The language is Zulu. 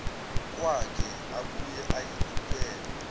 kwakhe abuye ayikhuphule